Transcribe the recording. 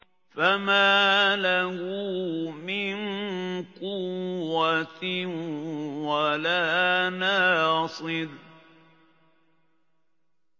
فَمَا لَهُ مِن قُوَّةٍ وَلَا نَاصِرٍ